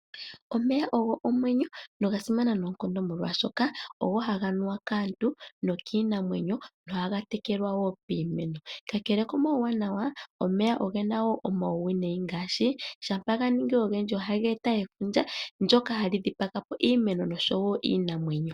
Omeya ogo omwenyo noga simana noonkondo molwaashoka ogo haga nuwa kaantu nokiinamwenyo nohaga tekelwa wo piimeno. Kakele komauwanawa omeya ogena wo omauwinayi ngaashi shampa ganingi ogendji ohaga eta efundja ndyoka hali dhipagapo iimeno oshowo iinamwenyo .